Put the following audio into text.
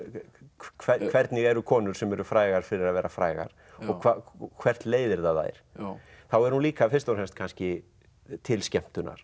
hvernig hvernig eru konur sem eru frægar fyrir að vera frægar og hvert leiðir það þær þá er hún líka fyrst og fremst kannski til skemmtunar